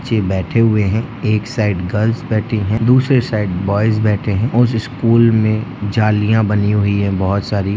बच्चे बैठे हुए हैं एक साइड गर्ल्स बैठी है दूसरे साइड बॉयज बैठे हैं उसे स्कूल में जालियां बनी हुई है बहुत सारी--